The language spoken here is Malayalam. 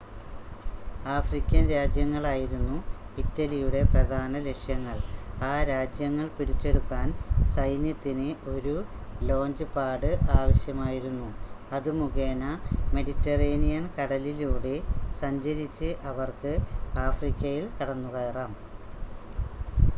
ആഫ്രിക്കൻ രാജ്യങ്ങളായിരുന്നു ഇറ്റലിയുടെ പ്രധാന ലക്ഷ്യങ്ങൾ.ആ രാജ്യങ്ങൾ പിടിച്ചെടുക്കാൻ സൈന്യത്തിന് ഒരു ലോഞ്ച് പാഡ് ആവശ്യമായിരുന്നു അത് മുഖേന മെഡിറ്ററേനിയൻ കടലിലൂടെ സഞ്ചരിച്ച് അവർക്ക് ആഫ്രിക്കയിൽ കടന്നുകയറാം